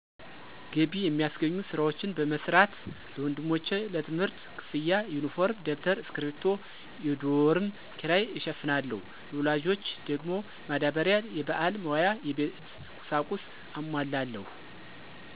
ገቢ የሚያስገኙ ስራዎችን በመስራት ለወንድሞቼ ለትምህርት ክፍያ፣ ዩኒፎርም፣ ደብተር፣ እስኪርቢቶ፣ የዶርም ኪራይ እሸፍናለሁ። ለወላጆች ደግሞ ማዳበሪያ፣ የበዓል መዋያ፣ የቤት ቁሳቁስ አሟላለሁ።